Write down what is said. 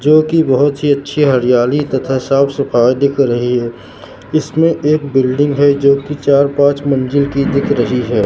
जो की बहुत अच्छी हरियाली तथा साफ सफाई दिख रही है इसमें एक बिल्डिंग है जो की चार पांच मंजिल की दिख रही है।